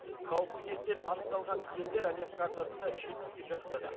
қауіпті кесел анықталған елдер әлем картасында жетпіске жақындады